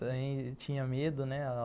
Também tinha medo, né?